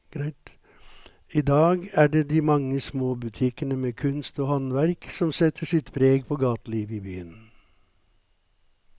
I dag er det de mange små butikkene med kunst og håndverk som setter sitt preg på gatelivet i byen.